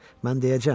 Mən deyəcəyəm.